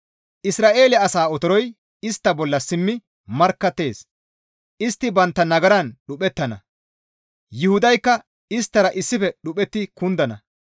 Isra7eele asaa otoroy istta bolla simmi markkattees. Istti bantta nagaran dhuphettana. Yuhudaykka isttara issife dhuphetti kundana.